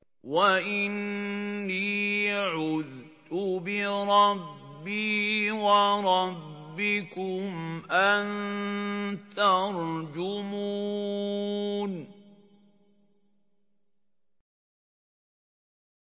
وَإِنِّي عُذْتُ بِرَبِّي وَرَبِّكُمْ أَن تَرْجُمُونِ